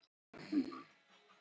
Háskólatorg Háskóla Íslands.